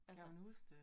Kan hun huske det?